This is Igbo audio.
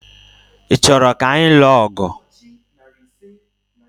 Ị chọrọ ka anyị lụọ ọgụ?